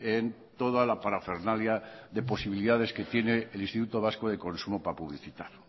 en toda la parafernalia de posibilidades que tienen el instituto vasco de consumo para publicitar